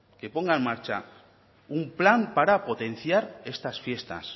que ponga en marcha un plan para potenciar estas fiestas